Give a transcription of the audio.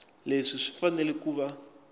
leswi swi fanele ku va